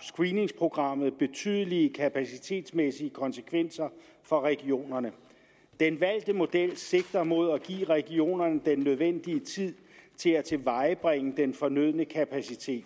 screeningsprogrammet betydelige kapacitetsmæssige konsekvenser for regionerne den valgte model sigter mod at give regionerne den nødvendige tid til at tilvejebringe den fornødne kapacitet